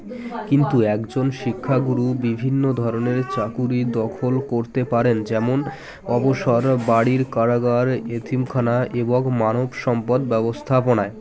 কিন্তু একজন শিক্ষাগুরু বিভিন্ন ধরনের চাকুরী দখল করতে পারেন যেমন অবসর বাড়ির কারাগার এতিম খানা এবং মানব সম্পদ ব্যবস্থাপনায়